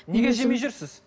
неге жемей жүрсіз